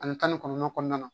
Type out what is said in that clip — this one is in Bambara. Ani tan ni kɔnɔntɔn kɔnɔna na